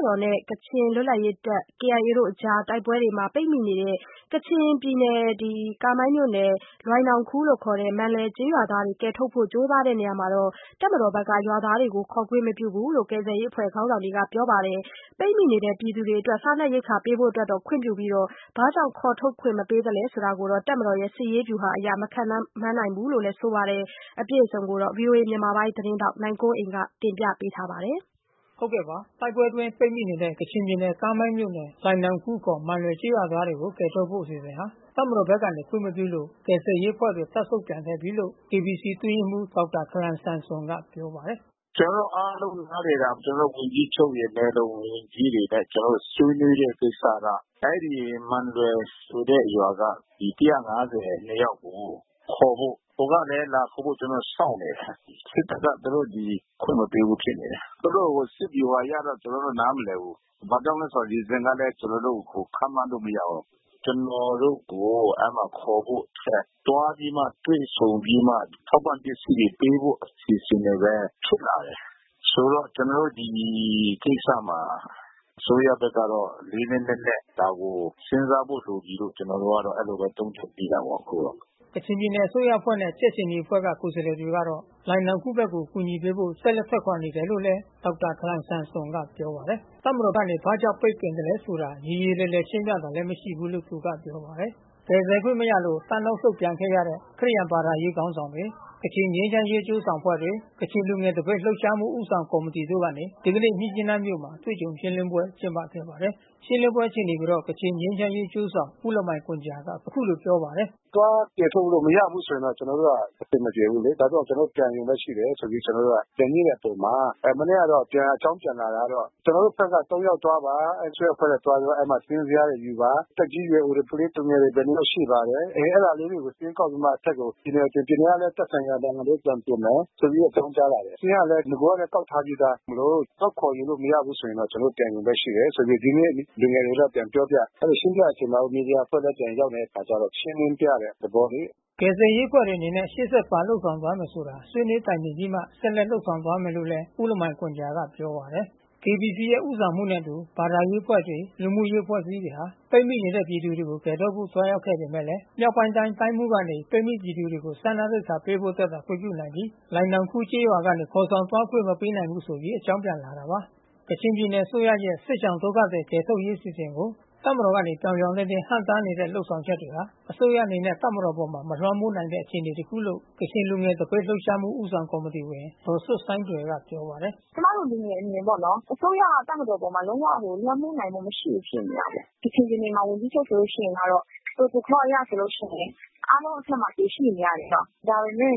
တော်နဲ့ကချင်လွတ်လပ်ရေးတပ်မတော် KIA တို့တိုက်ပွဲအကြားပိတ်မိနေတဲ့ ကချင်ပြည်နယ်ကားမိုင်းမြို့နယ် လိုင်နောင်ခူးခေါ် မန်လွယ်ကျေးရွာသားတွေကိုကယ်ထုတ်နိုင်ဖို့ ကြိူးပမ်းနေရာမှာ တပ်မတော်ကနေ ရွာသား တွေကိုခေါ်သွားခွင့်မပြုဘူးလို့ ကယ်ဆယ်ရေးအဖွဲ့ခေါင်းဆောင်တွေကပြောပါတယ်။ ပိတ်မိပြည်သူတွေကို စားနပ် ရိက္ခာပေးဖို့အတွက်သာခွင့်ပြုပြီး ဘာကြောင့်ခေါ်ထုတ်ခွင့်မပေးသလဲဆိုတာ တပ်မတော်ရဲ့ စစ်ရေးဗျူဟာအရ မခန့်မှန်း နိုင်ဘူးလို့လဲဆိုပါတယ်။ အပြည့်အစုံကိုတော့ ဗွီအိုအေမြန်မာပိုင်း သတင်းထောက်နိုင်ကွန်းအိန် ကပြောပြ ပေးမှာပါ။ တိုက်ပွဲအတွင်းပိတ်မိနေတဲ့ ကချင်ပြည်နယ်ကားမိုင်းမြို့နယ်၊ လိုင်နောင်ခူးခေါ် မန်လွယ်ကျေးရွာသားတွေကို ကယ်ထုတ်ဖို့အစီအစဉ်ဟာ တပ်မတော်ဘက်ကနေခွင့်မပြုလို့ ကယ်ဆယ်ရေးအဖွဲ့တွေ တပ်ဆုတ်ပြန်ခဲ့ပြီးလို့ KBC အတွင်းရေးမှူးဒေါက်တာခလန်ဆမ်ဆွန်ကပြောပါတယ်။ "ကျွန်တော်တို့အားလုံးနားလည်တာ ကျွန်တော်တို့ဝန်ကြီးချုပ်ရယ် နယ်လုံဝန်ကြီးတွေနဲ့ကျွန်တော်တို့ ဆွေးနွေးတဲ့ကိစ္စက အဲဒီမန်လွယ်ဆိုတဲ့ရွာက လူ(၁၅၂)ယောက်ကို ခေါ်ဖို့။ ဟိုကလဲ လာခေါ်ဖို့ကျွန်တော်တို့ကို စောင့်နေတယ်။ စစ်တပ်ကသူတို့ဒီအခွင့်မပေးဘူးဖြစ်နေတယ်။ သူတို့စစ်ဗျူဟာအရတော့ကျွန်တော်တို့ နားမလည်ဘူး။ ဘာကြောင့်လဲ။ reasons (အကြောင်းပြချက်) ကို ကျွန်တော်တို့ခန့်မှန်းလို့မရဘူး။ ကျွန်တော်တို့ကို အဲဒီမှာခေါ်ဖို့တက် သွား ပြီးမှတွေ့ဆုံပြီးမှ ထောက်ပံ့ပစ္စည်းတွေပေးဖို့အစီအစဉ်တွေဘဲ ဖြစ်လာတယ်။ ဆိုတော့ကျွန်တော်တို့ဒီကိစ္စမှာ အစိုးရဘက်ကတော့ လေးလေးနက်နက် ဒါကိုစဉ်းစားဖို့လိုပြီးလို့ကျွန်တော်တို့က အဲဒီလိုဘဲသုံးသပ်မိတာပေါ့။" ကချင်ပြည်နယ်အစိုးရအဖွဲ့နဲ့ကြက်ခြေနီအဖွဲ့ကကိုယ်စားလှယ်တွေတော့ လိုင်နောင်ခူးဘက်ကို အကူညီပေးဖို့ ဆက်လက်ထွက်ခွာနေတယ်လို့ဒေါက်တာ ခလန်ဆမ်ဆွန်ကပြောပါတယ်။ တပ်မတော်ကနေဘာကြောင့်ပိတ်ပင်သလဲဆိုတာ ရေရေလည်လည် ရှင်းပြတာမရှိဘူးလို့ သူကပြောပါတယ်။ ကယ်ဆယ်ခွင့်မရလို့တပ်နောက်ဆုတ်ပြန်ခဲ့ကြတဲ့ ခရစ်ယာန် ဘာသာရေးခေါင်းဆောင်တွေ ကချင်ငြိမ်းချမ်းရေး အကျိုးဆောင်အဖွဲ့တွေ ကချင်လူငယ်သပိတ်လှုပ်ရှားမှုဦးဆောင်ကော်မတီတို့ကနေ ဒီကနေ့မြစ်ကြီးနားမြို့မှာ အတွေ့အကြုံရှင်းလင်းပွဲကျင်းပခဲ့ပါတယ်။ ရှင်းလင်းပွဲအခြေအနေကိုတော့ ကချင်ငြိမ်းချမ်းရေး အကျိုးဆောင် ဦးလမိုင်ဂွမ်ဂျာကအခုလိုပြောပါတယ်။ "သွားကယ်ထုတ်လို့မရဘူးဆိုရင် ကျွန်တော်တို့ကအဆင်မပြေဘူးလေ။ ဒါကြောင့်ကျွန်တော်တို့ပြန်ရုံဘဲရှိတယ် ဆိုပြီးတော့ ပြန်ညှိတဲ့အချိန်မှာ မနေ့ကတော့ြ ပန်အကြောင်းပြန်တာကတော့ ကျွန်တော်တို့ဘက်က (၃)ယောက် သွားပါ။ အစိုးရအဖွဲ့နဲ့သွားပြီးတော့ အဲဒီမှာစာရင်းဇယားတွေယူပါ။ သက်ကြီးရွယ်အိုတွေ ကလေးသူငယ်တွေ ဘယ်နှစ်ယောက်ရှိပါတယ်။ အဲတာလေးတွေကိုစာရင်းကောက်ပြီးမှအထက်ကို ပြည်နယ်ဆီ။ ပြည်နယ်ကလဲ သက်ဆိုင်ရာကိုပြန်တင်မယ်။ ပြန်ပြီးတော့အကြောင်းကြားလာတယ်။ စာရင်းကလဲ နဂိုကကောက်ထားပြီးသားမို့လို့သွားခေါ်ယူလို့မရဘူးဆိုရင်ကျွန်တော်တို့ပြန်ရုံပဲ ရှိတယ်ဆိုပြီး ဒီနေ့လူငယ်တွေကို ပြန်ပြောပြတယ်။ အဲဒီလို ရှင်းပြတဲ့အချိန်မှာဘဲ မီဒီယာအဖွဲ့လဲပြန်ရောက်နေတဲ့အခါကျတော့ ရှင်းလင်းပြတဲ့သဘောလေ။" ကယ်ဆယ်ရေးအဖွဲ့တွေအနေနဲ့ရှေ့ဆက်ဘာလုပ်ဆောင်သွားမယ်ဆိုတာ ဆွေးနွေးတိုင်ပင်ပြီးမှ ဆက်လက်လုပ် ဆောင်သွားမယ်လို့ဦးလမိုင်ဂွမ်ဂျာကပြောပါတယ်။ KBC ရဲ့ ဦးဆောင်မှုနဲ့အတူ ဘာသာရေးအဖွဲ့တွေ လူမှုရေးအဖွဲ့အစည်းတွေက ပိတ်မိနေတဲ့ ပြည်သူတွေကို ကယ်ထုတ်ဖို့ သွားရောက်ခဲ့ပေမယ့် မြောက်ပိုင်းတိုင်းတိုင်းမှူးကနေ ပိတ်မိပြည်သူတွေကို စားနပ်ရိက္ခာပေးဖို့ အတွက်သာ ခွင့်ပြုနိုင်ပြီး လိုင်နောင်ခူးကျေးရွာကနေ ခေါ်ဆောင်သွားခွင့် မပေးနိုင်ဘူးဆိုပြီး အကြောင်းပြန်လာတာပါ။ ကချင်ပြည်နယ်အစိုးရရဲ့ စစ်ရှောင်ဒုက္ခသည်ကယ်ထုတ်ရေးအစီအစဉ်ကို တပ်မတော်ကနေပြောင်ပြောင်တင်းတင်း ဟန့်တားနေတဲ့ လုပ်ဆောင်ချက်တွေဟာ အစိုးရအနေနဲ့တပ်မတော်အပေါ်မလွှမ်းမိုးနိုင်တဲ့ အခြေအနေ တခုလို့ ကချင်လူငယ်သပိတ်လှုပ်ရှားမှုဦးဆောင်ကော်မတီဝင် ဒေါ်ဆွတ်ဆိုင်းတွယ်ကပြော ပါတယ်။ "ကျွန်မတို့လူငယ်အမြင်ပေါ့နော်။ အစိုးရကတပ်မတေည်အပေါ် လုံးဝလွှမ်းမိုးနိုင်မှုမရှိဘူးဖြစ်နေတယ်။ ကချင်ပြည် နယ်မှာ ဝန်ကြီးချုပ်ဆိုလို့ရှိရင်ကတော့ ပရိုတိုကောအရဆိုလို့ရှိရင် အားလုံးအထက်မှာသူရှိနေရတယ်ပေါ့။ ဒါပေမဲ့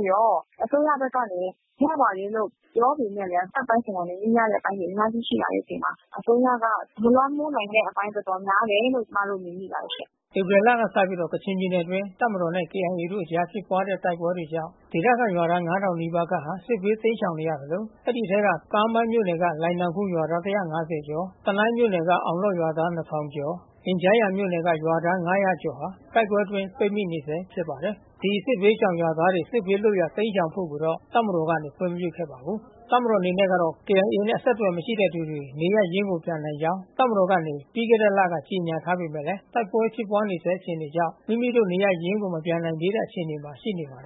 အစိုးရဘက်ကနေ ရပါတယ်လို့ပြောပေမဲ့လဲ တပ်ပိုင်းဆိုင်ရာတွေညှိရမဲ့အပိုင်းတွေ အများကြီးရှိလာတဲ့ အချိန် မှာ အစိုးရက မလွှမ်းမိုးနိုင်တဲ့အပိုင်း တော်တော်များတယ်လို့ကျွန်မတို့မြင်မိပါတယ်ရှင့်။" ဧပြီလကစပြီးကချင်ပြည်နယ်အတွင်း တပ်မတော်နဲ့ ကေအိုင်အေတို့အကြား ဖြစ်ပွားနေတဲ့ တိုက်ပွဲတွေကြောင့် ဒေသခံရွာသား (၅၀၀၀)ခန့်ဟာ စစ်ဘေးတိမ်းရှောင်နေရသလို အဲဒီအထဲက ကားမိုင်းမြို့နယ်ကလိုင်နောင်ခူးရွာသား (၁၅၀)ကျော်၊ တနိုင်းမြို့နယ်က အောင်လော့ဒ် ရွာသား(၂၀၀၀)ကျော်၊ အင်ဂျားယန်မြို့နယ်က ရွာသား(၅၀၀) ကျော် ဟာ တိုက်ပွဲအတွင်းပိတ်မိနေဆဲဖြစ်ပါတယ်။ ဒီစစ်ဘေးရှောင်ရွာသားတွေစစ်ဘေးလွတ်ရာတိမ်းရှောင်ဖို့ကိုတော့ တပ်မတော်ကနေခွင့်မပြုခဲ့ပါဘူး။ တပ်မတော်အနေနဲ့ကတော့ KIA နဲ့အဆက်အသွယ်မရှိတဲ့တဲ့သူတွေ နေရပ်ရင်းကိုပြန်နိုင်ကြောင်း တပ်မတော်က နေ ပြီးခဲ့တဲ့လကကြေညာထားပေမဲ့လည်း တိုက်ပွဲဖြစ်ပွါးနေဆဲအခြေအနေကြောင့် မိမိတို့နေရပ်ရင်းကိုမပြန်နိုင် သေးတဲ့ အခြေအနေမှာရှိနေပါတယ်